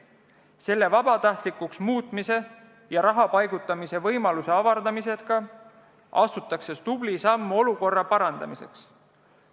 Selle vabatahtlikuks muutmise ja raha paigutamise võimaluse avardamisega astutakse tubli samm olukorra parandamiseks.